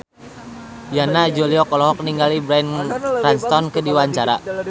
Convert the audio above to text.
Yana Julio olohok ningali Bryan Cranston keur diwawancara